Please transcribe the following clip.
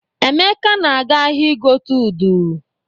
Emeka na-aga ahịa igote udu.